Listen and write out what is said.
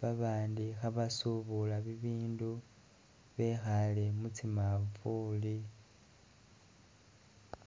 babandi khabasuubula bibindu, bekhale mutsi manfuli